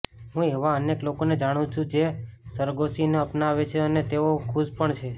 હું એવા અનેક લોકોને જાણું છું જે સરોગસીને અપનાવે છે અને તેઓ ખુશ પણ છે